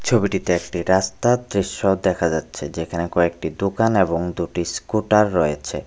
ছবিটিতে একটি রাস্তার দৃশ্য দেখা যাচ্ছে যেখানে কয়েকটি দোকান এবং দুটি স্কুটার রয়েছে।